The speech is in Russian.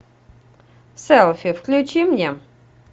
селфи включи мне